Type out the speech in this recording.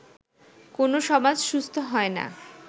কোনও সমাজ সুস্থ হয় না